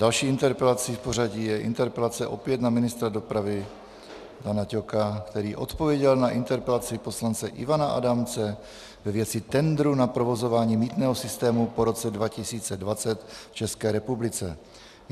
Další interpelací v pořadí je interpelace opět na ministra dopravy Dana Ťoka, který odpověděl na interpelaci poslance Ivana Adamce ve věci tendru na provozování mýtného systému po roce 2020 v České republice.